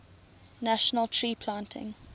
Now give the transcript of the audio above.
national tree planting